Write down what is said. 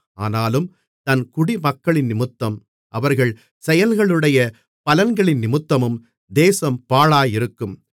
ஆனாலும் தன் குடிமக்களினிமித்தமும் அவர்கள் செயல்களுடைய பலன்களினிமித்தமும் தேசம் பாழாயிருக்கும்